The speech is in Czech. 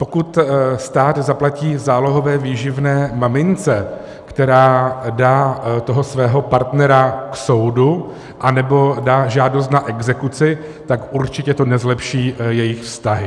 Pokud stát zaplatí zálohové výživné mamince, která dá toho svého partnera k soudu anebo dá žádost na exekuci, tak určitě to nezlepší jejich vztahy.